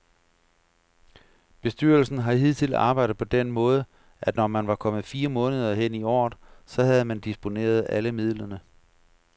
Bestyrelsen har hidtil arbejdet på den måde, at når man var kommet fire måneder hen i året, så havde man disponeret alle midlerne.